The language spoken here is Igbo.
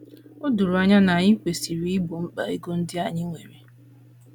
O doro anya na anyị kwesịrị igbo mkpa ego ndị anyị nwere.